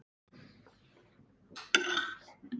SKÚLI: Hvað nú?